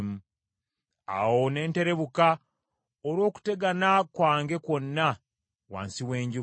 Awo ne nterebuka olw’okutegana kwange kwonna wansi w’enjuba.